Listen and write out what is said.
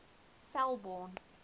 selborne